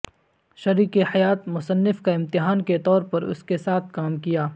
شریک حیات مصنف کا امتحان کے طور پر اس کے ساتھ کام کیا